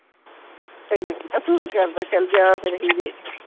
ਤੈਨੂੰ ਹੀਰਾ ਸੂਟ ਹੀ ਕਰਦਾ ਚੱਲ ਜਾ ਫਿਰ ਹੀਰੇ ਕੋਲ